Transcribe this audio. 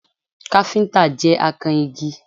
Káfíntà jẹ́ akan igi